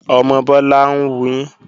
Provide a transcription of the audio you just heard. Ọmọ Bọ́lá ń wuyín